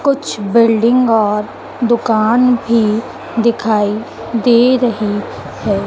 कुछ बिल्डिंग और दुकान भी दिखाई दे रहे है।